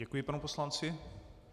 Děkuji panu poslanci.